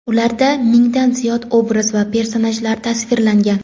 Ularda mingdan ziyod obraz va personajlar tasvirlangan.